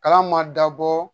Kalan man dabɔ